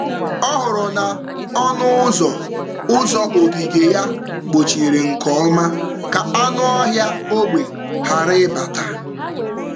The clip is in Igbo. Ọ hụrụ na um ọnụ ụzọ um ogige um ya kpochiri nke ọma ka anụ ọhịa ógbè ghara ịbata.